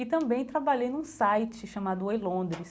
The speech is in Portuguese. E também trabalhei num site chamado eLondres.